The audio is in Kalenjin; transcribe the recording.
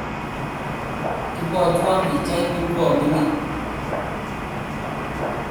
Ibwotwo pichaini aa mining'